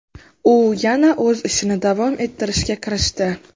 U yana o‘z ishini davom ettirishga kirishdi.